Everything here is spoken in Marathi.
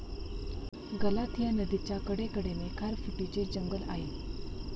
गलाथिया नदीच्या कडे कडेने खारफुटीचे जंगल आहे.